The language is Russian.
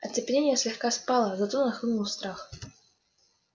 оцепенение слегка спало зато нахлынул страх